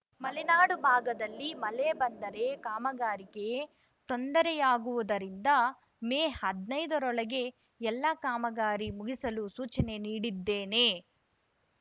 ಮಲೆನಾಡು ಭಾಗದಲ್ಲಿ ಮಳೆ ಬಂದರೆ ಕಾಮಗಾರಿಗೆ ತೊಂದರೆಯಾಗುವುದರಿಂದ ಮೇ ಹದ್ನೈದ ರೊಳಗೆ ಎಲ್ಲ ಕಾಮಗಾರಿ ಮುಗಿಸಲು ಸೂಚನೆ ನೀಡಿದ್ದೇನೆ